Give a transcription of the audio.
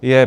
Je!